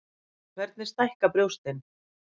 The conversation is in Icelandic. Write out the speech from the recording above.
Hvernig stækka brjóstin?